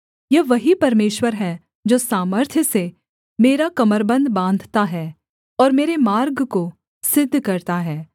यह वही परमेश्वर है जो सामर्थ्य से मेरा कमरबन्ध बाँधता है और मेरे मार्ग को सिद्ध करता है